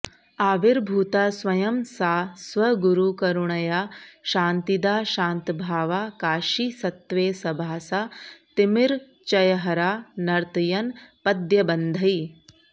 आविर्भूता स्वयं सा स्वगुरुकरुणया शान्तिदा शान्तभावा काशीसत्त्वे सभासा तिमिरचयहरा नर्तयन् पद्यबन्धैः